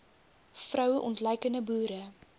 vroue ontluikende boere